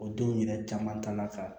O denw yɛrɛ caman ta la ka